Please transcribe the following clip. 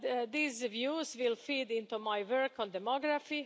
These views will feed into my work on demography.